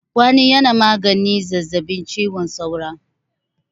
Kwanin yana maganin zazabin cizon saura